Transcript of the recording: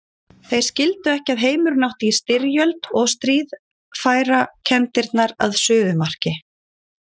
Þeir skildu ekki að heimurinn átti í styrjöld og stríð færa kenndirnar að suðumarki.